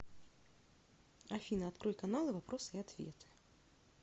афина открой каналы вопросы и ответы